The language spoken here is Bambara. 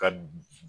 Ka